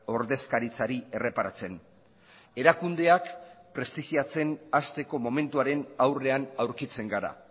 ordezkaritzari erreparatzen erakundeak prestigiatzen hasteko momentuaren aurrean aurkitzen gara